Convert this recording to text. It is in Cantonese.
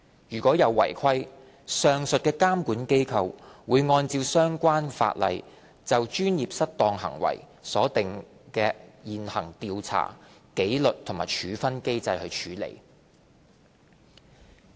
如有違規，上述監管機構會按照相關法例就專業失當行為所訂的現行調查、紀律和處分機制處理。